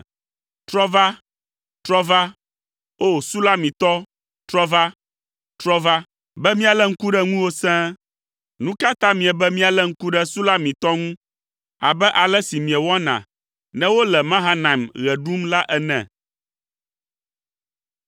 Trɔ va, trɔ va, O Sulamitɔ trɔ va, trɔ va, be míalé ŋku ɖe ŋuwò sẽe! Nu ka ta miebe míalé ŋku ɖe Sulamitɔ ŋu abe ale si miewɔna ne wole Mahanaim ɣe ɖum la ene?